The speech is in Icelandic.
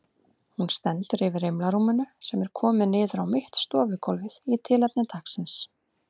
Hún stendur yfir rimlarúminu sem er komið niður á mitt stofugólfið í tilefni dagsins.